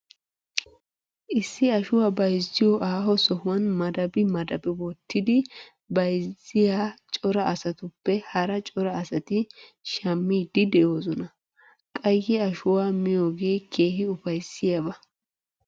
Issi ashuwa bayizziyo aaho sohuwan madabi madabi wottidi bayizziya cora asatuppe hara cora asti shammiiddi de'oosona. Qayye ashuwa miyogee keehi ufayissiyaaba.